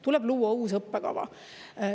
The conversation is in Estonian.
Tuleb luua uus õppekava.